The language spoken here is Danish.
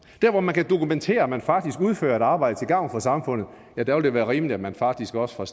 hvor man kan dokumentere at man faktisk udfører et arbejde til gavn for samfundet vil det være rimeligt at man faktisk også fra